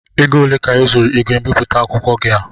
Ego ole ka ị zụrụ ígwè mbipụta akwụkwọ gị a?